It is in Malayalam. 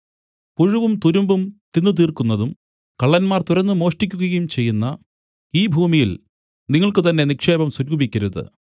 പുഴുവും തുരുമ്പും തിന്നു തീർക്കുന്നതും കള്ളന്മാർ തുരന്നു മോഷ്ടിക്കുകയും ചെയ്യുന്ന ഈ ഭൂമിയിൽ നിങ്ങൾക്ക് തന്നെ നിക്ഷേപം സ്വരൂപിക്കരുതു